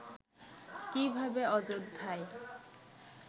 কিভাবে অযোধ্যায়